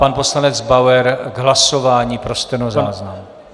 Pan poslanec Bauer k hlasování pro stenozáznam.